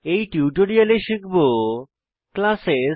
এই টিউটোরিয়ালে শিখব ক্লাসেস